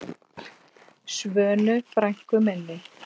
Svönu frænku minni.